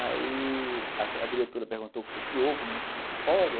Aí a diretora perguntou o que foi que houve, como é que pode?